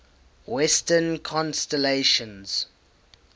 western constellations